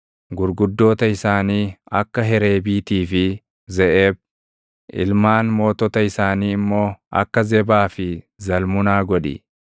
Gurguddoota isaanii akka Hereebiitii fi Zeʼeeb, ilmaan mootota isaanii immoo akka Zebaa fi Zalmunaa godhi;